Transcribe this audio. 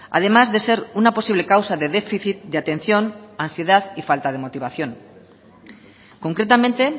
además de ser una posible causa de déficit de atención ansiedad y falta de motivación concretamente